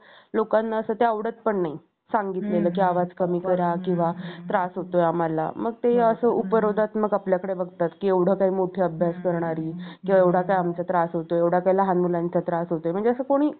एकनाथजी यांचे चरित्र होते.